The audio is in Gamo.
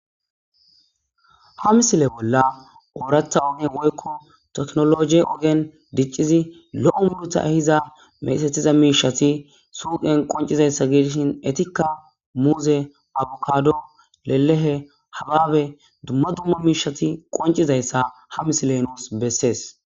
Ha misile bolla oorata ogen woykko teknolog ogen diccizi lo'o mudutha hiza mesetiza miishati suuqen qoncizayssa gidishin etikka muuze abukado lelehe hababe dumma dumma miishati qoncizayssa ha misile nuus bessees.